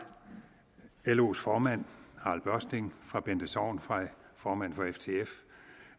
los formand harald børsting fra bente sorgenfrey formand for ftf